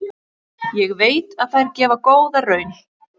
Ég veit að þær gefa góða raun.